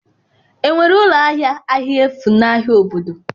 Enwere ụlọ ahịa ahịa efu n'ahịa obodo?